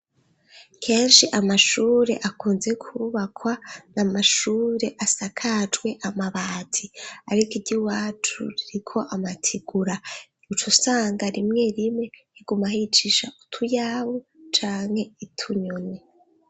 Kenshi amashure akunze kubakwa n’amashure asakajwe amabati ariko iry'iwacu ririko amatigura icusanga rimwe rimwe igumahicisha utuyawu canke utunyoni.